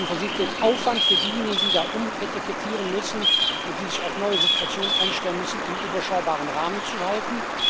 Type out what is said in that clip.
Wir haben versucht, den Aufwand für diejenigen, die umetikettieren müssen und die sich auf neue Situationen einstellen müssen, in einem überschaubaren Rahmen zu halten.